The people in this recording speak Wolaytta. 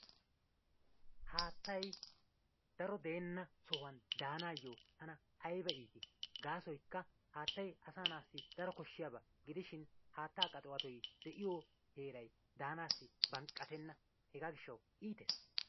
Haattay daro deena sohuwan daanayo tana aybba iitti, gaasoykka haattay asaa naassi daro koshshiyaaba gidishin haattaa qaxuwattoy de'iyo heeray daanassi banqqattena. Hega gishshaw iittees.